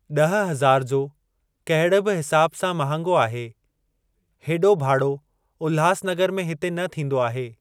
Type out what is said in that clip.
ॾह हज़ार जो कहिड़े बि हिसाब सां महांगो आहे। हेॾो भाड़ो उल्हास नगर में हिते न थींदो आहे।